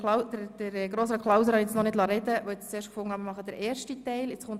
Klauser ist jetzt noch nicht zu Wort gekommen, weil ich zuerst den ersten Teil habe diskutieren wollte.